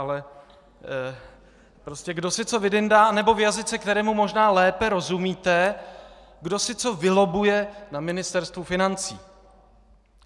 Ale prostě kdo si co vydyndá, anebo v jazyce, kterému možná lépe rozumíte - kdo si co vylobbuje na Ministerstvu financí.